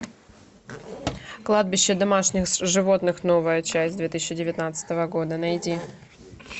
кладбище домашних животных новая часть две тысячи девятнадцатого года найди